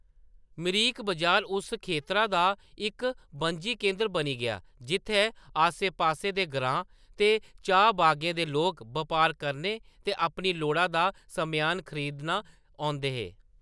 मिरिक बजार उस खेतरा दा इक बनजी केंदर बनी गेआ जित्थैं आसे-पासे दे ग्राएं ते चाह्‌‌ बागें दे लोक बपार करने ते अपनी लोड़ा दा सम्यान खरीदन औंदे हे।